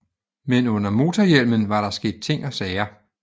Men under motorhjælmen var der sket ting og sager